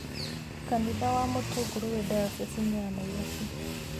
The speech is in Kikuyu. Kanitha wa Mutunguru wĩ diocese ya Nairobi.